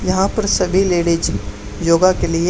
यहां पर सभी लेडिस योगा के लिए--